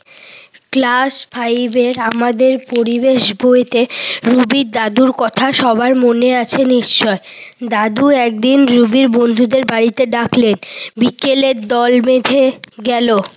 Class five র আমাদের পরিবেশ বইতে রুবির দাদুর কথা সবার মনে আছে নিশ্চয়। দাদু একদিন রুবি বন্ধুদের বাড়িতে ডাকলেন। বিকেলে দল বেঁধে গেল